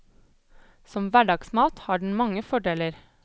Som hverdagsmat har den mange fordeler.